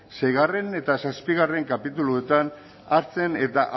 seigarren eta zazpigarren kapituluetan hartzen eta